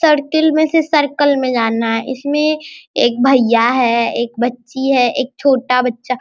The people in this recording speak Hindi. सर्किल में से सर्कल में जाना है इसमें एक भैया है एक बच्ची है एक छोटा बच्चा --